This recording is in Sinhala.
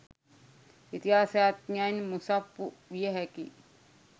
ඉතිහාසඥයින් මුසුප්පු විය හැකි